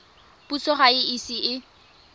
puso ga e ise e